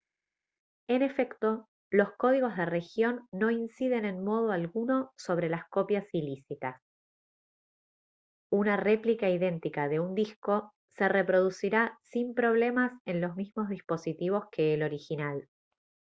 en efecto los códigos de región no inciden en modo alguno sobre las copias ilícitas una réplica idéntica de un disco se reproducirá sin problemas en los mismos dispositivos que el original